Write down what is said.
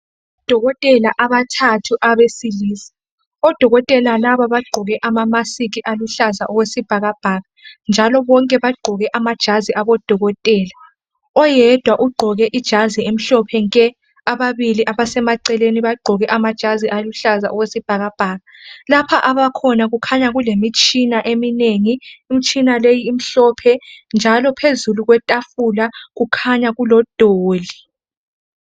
Odokotela abathathu abesilisa. Odokotela laba bagqoke amamasikhi aluhlaza okwesbhakabhaka. Njalo bonke bagqoke amajazi obudokotela. Owedwa ugqoke ijazi emhlophe nke. Ababili abasemaceleni bagqoke amajasi aluhlaza okwesbhakabhaka. Lapha abakhona kukhanya kulemitshina eminengi, imitshina leyi imhlophe, njalo phezulu kwetafula kukhanya kulodoli.